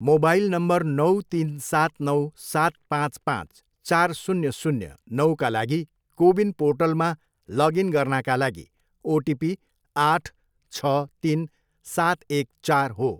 mobile number नौ, तिन, सात, नौ, सात, पाँच, पाँच, चार, शून्य, शून्य, नौका लागि कोविन पोर्टलमा लगइन गर्नाका लागि ओटिपी आठ, छ, तिन, सात, एक, चार हो